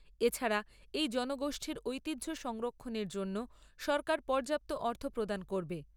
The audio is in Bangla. এছাড়া এই জনগোষ্ঠীর ঐতিহ্য সংরক্ষণের জন্য সরকার পর্যাপ্ত অর্থ প্রদান করবে।